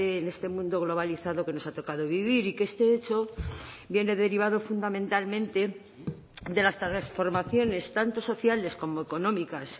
en este mundo globalizado que nos ha tocado vivir y que este hecho viene derivado fundamentalmente de las transformaciones tanto sociales como económicas